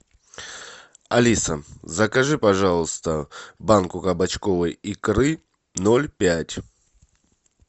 алиса закажи пожалуйста банку кабачковой икры ноль пять